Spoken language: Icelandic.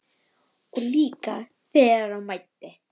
Og líka þegar á mæddi.